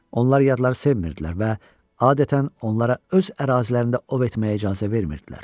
Onlar yadları sevmirdilər və adətən onlara öz ərazilərində ov etməyə icazə vermirdilər.